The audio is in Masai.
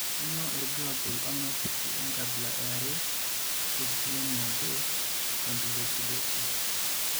Kainyio irbulabul onaapuku enkabila eare eGMnabo gangliosidosis?